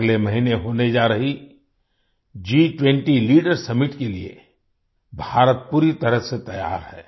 अगले महीने होने जा रही G20 लीडर्स सम्मित के लिए भारत पूरी तरहसे तैयार है